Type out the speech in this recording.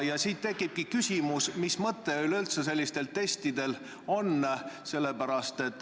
Ja siit tekibki küsimus, et mis mõte sellistel testidel üleüldse on.